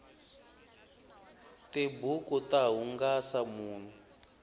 tibuku ta hungasa munhu